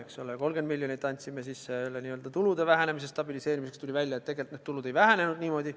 30 miljonit andsime tulude vähenemise stabiliseerimiseks – tuli välja, et tegelikult need tulud ei vähenenud niimoodi.